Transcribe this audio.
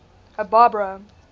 barbara